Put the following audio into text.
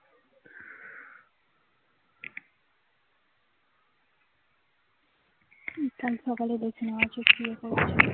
কাল সকাল এ দেখছি মা আসুক দেখছি